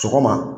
Sɔgɔma